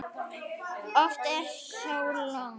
Oft er þó logn.